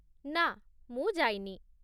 ନାଁ, ମୁଁ ଯାଇନି।